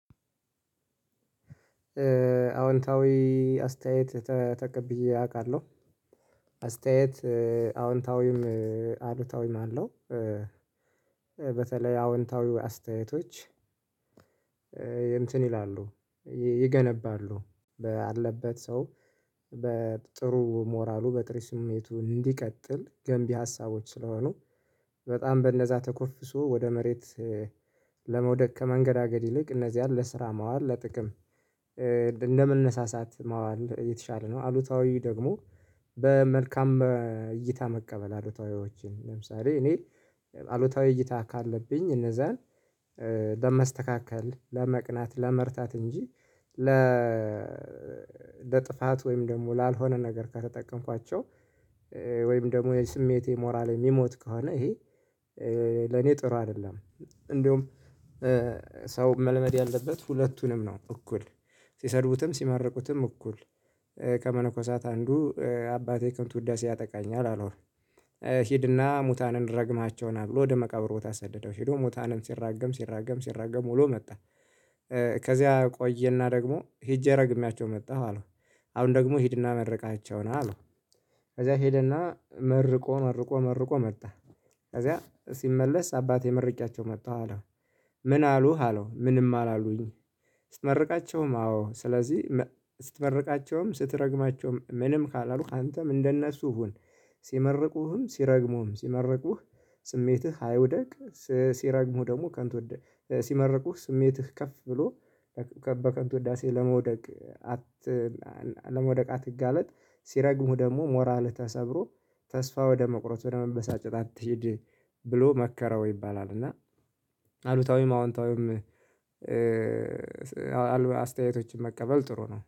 አዎንታዊ አስተያየት ተጠቅብዬ አውቃለሁ አስተያየት አዎንታዊም አሉታዊም አለው። በተለይ አዎንታዊው አስተያየቶች። እንትን ይላሉ። ይገነባሉ ባለበት ሰው በጥሩ ሞራሉ በጥሩ ስሜቱ እንዲቀጥል ገንቢ ሀሳቦች ስለሆኑ በጣም በነዛ ተኮፍሶ ወደ መሬት። ለመውደቅ ከመንገዳገድ ይልቅ እነዚህ ለስራ ማዋል ለጥቅም እንደመነሳሳት ማዋል የተሻለ ነው። አሉታዊ ደግሞ። በመልካም እይታ መቀበል አሉታዊዎችን ለምሳሌ እኔ አሉታዊ እይታ ካለብኝ እነዛን ለማስተካከል ለማቅናት ለመርታት እንጂ ለ ለጥፋት ወይም ደግሞ ላልሆነ ነገር ከተጠቀምኳቸው። ወይም ደግሞ የስሜቴ ሞራል የሚሞት ከሆነ ይሄ ለኔ ጥሩ አይደለም። እንደውም ሰው መልመድ ያለበት ሁለቱንም ነው። እኩል ሲሰድቡትም ሲመርቁትም እኩል ከመነኮሳት አንዱ አባቴ ከንት ውዳሴ ያጠቃኛል አለው። ሂድና ሙታንን ረግመሃቸውና ብሎ ወደ መቃብር ቦታ አሰደደው ሄዶ ሙታንን ሲራገም ሲራገም ሲራገም ወሎ መጣ። ከዚያ ቆየና ደግሞ ሄጄ ረግሜያቸው መጣሁ አለው። አሁን ደግሞ ሂድና መረቃሃቸው ና አለው። ከዛ ሄደና መርቆ መርቆ መርቆ መጣ። ከዛ ሲመለስ አባቴ መርቄያቸው መጣሁ አለው። ምን አሉህ አለው ምንም አላሉኝ። ስትመርቃቸውም አዎ ስለዚህ ስትመርቃቸውም ስትረግማቸውም ምንም ካላሉሀ አንተም እንደነሱ ሁን። ሲመርቁህም ሲረግሙህም ሲመርቁህ ስሜትህ አይውደቅ። ሲረግሙህ ደግሞ ከንት ወደ ሲመረቁህ ስሜትህ ከፍ ብሎ በከንቱ ውዳሴ ለመውደቅ። አት ለመውደቅ አትጋለጥ። ሲረግሙ ደግሞ ሞራልሀ ተሰብሮ ተስፋ ወደ መቁረጥ ወደ መበሳጨት አትሂድ። ብሎ መከረው ይባላል። እና አሉታዊም አዎንታዊም አሉ አስተያየቶችን መቀበል ጥሩ ነው